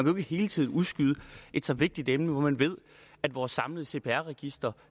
jo ikke hele tiden udskyde et så vigtigt emne når man ved at vores samlede cpr register